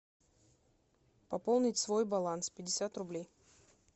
пополнить свой баланс пятьдесят рублей